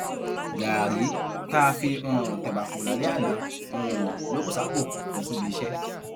gáárì tá a fi um tẹba kú lálẹ àná um ló bú sápò lọ síbi iṣẹ